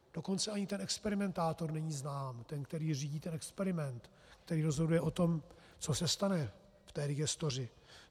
Dokonce ani ten experimentátor není znám, ten, který řídí ten experiment, který rozhoduje o tom, co se stane v té digestoři.